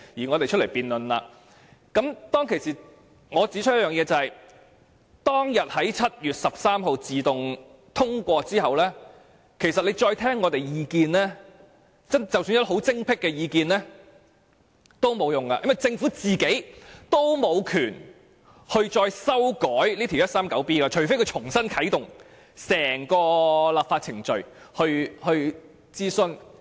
我當時曾經指出，修訂規例在7月13日自動通過後，即使政府再聆聽我們的意見，即使我們的意見多麼精闢也沒有用，因為政府沒權再次修改第 139B 章，除非重新啟動整個立法程序並進行諮詢。